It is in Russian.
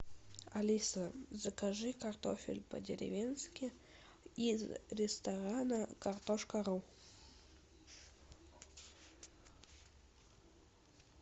алиса закажи картофель по деревенски из ресторана картошка ру